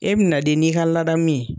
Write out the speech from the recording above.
E bɛna de n'i ka ladamu de ye